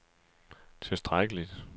tilstrækkeligt